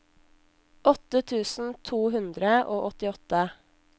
åtte tusen to hundre og åttiåtte